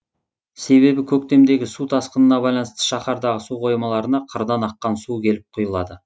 себебі көктемгі су тасқынына байланысты шаһардағы су қоймаларына қырдан аққан су келіп құйылады